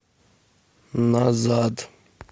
назад